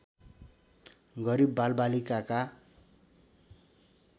गरिब बालबालिकाका